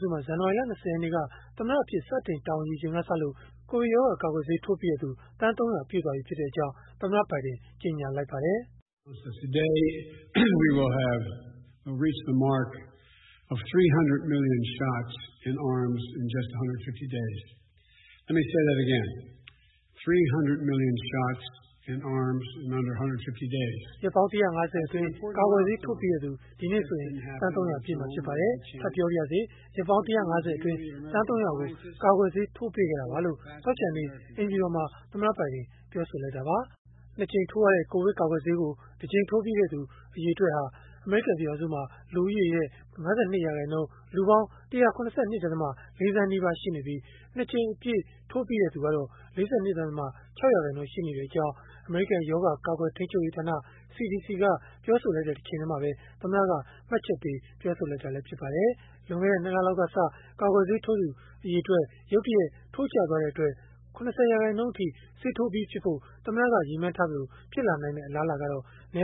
စုမှာ ဇန်နဝါရီလ ၂၀ ရက်နေ့က သမ္မတအဖြစ် စတင်တာဝန်ယူချိန်ကစလို့ ကိုဗစ်ရောဂါကာကွယ်ဆေး ထိုးပြီးတဲ့သူ သန်း ၃၀၀ ပြည့်ပြီဖြစ်ကြောင်း သမ္မတ Joe Biden က ကြေညာလိုက်ပါတယ်။ “ရက်ပေါင်း ၁၅၀ အတွင်း ကာကွယ်ဆေး ထိုးပြီးတဲ့သူ ဒီနေ့ဆိုရင် သန်း ၃၀၀ ပြည့်မှာ ဖြစ်ပါတယ်။ ထပ်ပြောပါရစေ၊ ရက်ပေါင်း ၁၅၀ အတွင်း သန်း ၃၀၀ ကို ကာကွယ်ဆေးထိုးပေးခဲ့တာပါ။” လို့ သောကြာနေ့က အိမ်ဖြူတော်မှာ သမ္မတဘိုင်ဒင် ပြောဆိုလိုက်တာပါ။ ၂ ကြိမ်ထိုးရတဲ့ ကိုဗစ်ကာကွယ်ဆေးကို ၁ ကြိမ် ထိုးထားပြီးသားသူ အရေအတွက်ဟာ အမေရိကန် လူဦးရေရဲ့ ၅၂ ရာခိုင်နှုန်း၊ လူပေါင်း ၁၇၂.၄ သန်းနီးပါး ရှိနေပြီး၊ ၂ ကြိမ်အပြည့်ထိုးပြီးသူ ၄၂.၆ ရာခိုင်နှုန်း ရှိကြောင်း အမေရိကန် ရောဂါကာကွယ်ထိန်းချုပ်ရေးဌာန (CDC) က ပြောဆိုထားတဲ့ တချိန်တည်းမှာပဲ သမ္မတက မှတ်ချက်ပေး ပြောဆိုလိုက်တာလည်း ဖြစ်ပါတယ်။ လွန်ခဲ့တဲ့ ၂ လလောက်ကစ ကာကွယ်ဆေးထိုးသူ ရုတ်တရက် ထိုးကျသွားတဲ့အတွက် ၇၀ ရာခိုင်နှုန်း ဆေးထိုးပြီးဖြစ်ဖို့ သမ္မတက ရည်မှန်းထားသလို ဖြစ်လာမယ့် အလားအလာကတော့ န